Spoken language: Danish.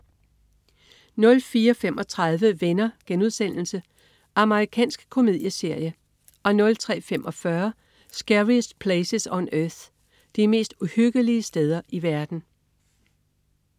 04.35 Venner.* Amerikansk komedieserie 03.45 Scariest Places on Earth. De mest uhyggelige steder i verden